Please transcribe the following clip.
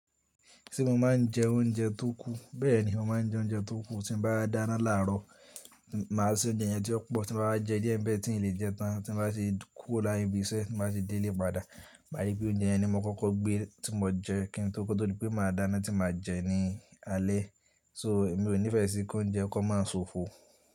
Ṣé mo máa ń jẹ oúnjẹ tó kù? Bẹ́ẹ̀ni, mo máa ń jẹ oúnjẹ tó kù. Tí ń bá dáná làárọ̀, màá se oúnjẹ yẹn tí ó pọ̀ tí mbá wá jẹ díẹ̀ ń bẹ́ẹ̀ tí n lè jẹ tán. Tí n bá ṣe kúrò láti ibi iṣẹ́, tí mo bá ṣe dé ilé padà, máà ríi pé oúnjẹ yẹn ni mo kọ́kọ́ gbé tí mo jẹ kí n tó kó tó di pé màá dáná tí màá jẹ ní alẹ́. So, mi ò nífẹ̀ẹ́ sí kí oúnjẹ kó máa sofo.